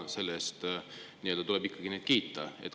Selle eest tuleb neid ikkagi kiita.